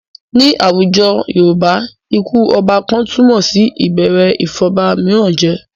Ní àwùjọ Yorùbá, ikú ọba kan túmọ̀ sí ìbẹ̀rẹ̀ ìfọ̀ba mìíràn jẹ.